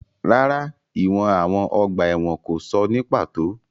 Rárá, ìwọ̀n àwọn ọgbà ẹ̀wọ̀n kò sọ ní pàtó.